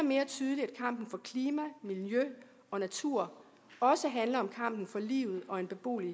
og klima miljø og natur også handler om kampen for livet og en beboelig